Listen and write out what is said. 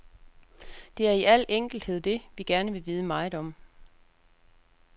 Det er i al enkelthed det, vi gerne vil vide meget om.